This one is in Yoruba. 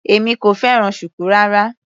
Èmi kò fẹ́ràn shuku rárá.